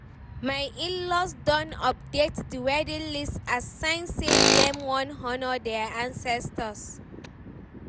my inlaws don update the wedding list as sign say Dem wan honour their ancestors